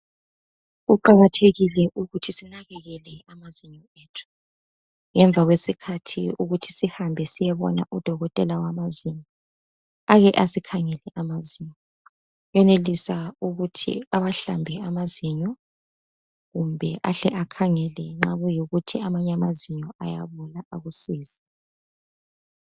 Kuqakathekile ukuthi sinakekele amazinyo ethu ngemva kwesikhathi ukuthi sihamba siyebona odokotela wamazinyo ake asikhangele amazinyo uyenelisa ukuthi awahlambe amazinyo kumbe ahle akhangele nxa kuyikuthi amanye amazinyo ayabola akusize.